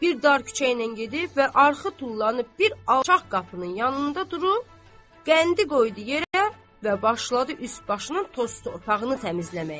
Bir dar küçə ilə gedib və arxı tullanıb bir alçaq qapının yanında durub, qəndi qoydu yerə və başladı üst başının toz torpağını təmizləməyə.